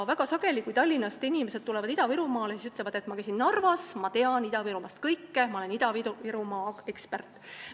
Väga sageli, kui Tallinnast inimesed tulevad Ida-Virumaale, siis nad ütlevad, et ma käisin Narvas, ma tean Ida-Virumaast kõike, ma olen Ida-Virumaa ekspert.